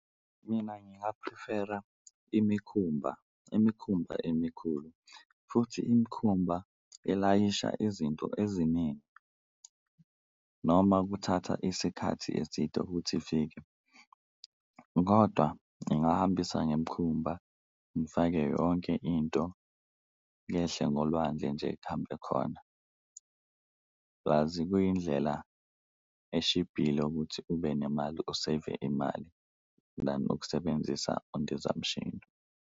Mina nginga-prefer-a imikhumba, imikhumba emikhulu futhi imikhumba elayisha izinto eziningi noma kuthatha isikhathi eside ukuthi ifike kodwa ngingahambisa ngemikhumba ngifake yonke into yehle ngolwandle nje kuhambe khona. Bhulazi kuyindlela eshibhile ukuthi ube nemali u-save-e imali nanokusebenzisa indizamshini.